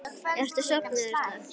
Ertu sofnuð, Erla?